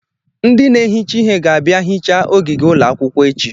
Ndị na-ehicha ihe ga-abịa hichaa ogige ụlọ akwụkwọ echi.